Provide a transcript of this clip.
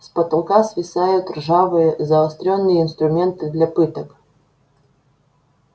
с потолка свисают ржавые заострённые инструменты для пыток